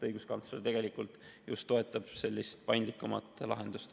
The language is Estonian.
Õiguskantsler tegelikult just toetab sellist paindlikumat lahendust.